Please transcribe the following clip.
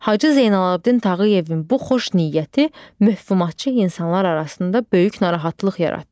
Hacı Zeynalabdin Tağıyevin bu xoş niyyəti möhumatçı insanlar arasında böyük narahatlıq yaratdı.